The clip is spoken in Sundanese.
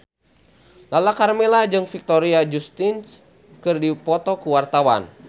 Lala Karmela jeung Victoria Justice keur dipoto ku wartawan